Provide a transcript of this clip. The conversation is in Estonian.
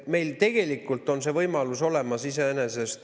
Meil tegelikult on see võimalus olemas.